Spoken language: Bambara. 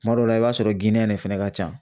Kuma dɔw la i b'a sɔrɔ fɛnɛ ka ca.